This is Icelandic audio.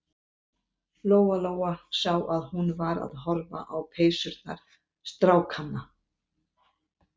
Lóa-Lóa sá að hún var að horfa á peysurnar strákanna.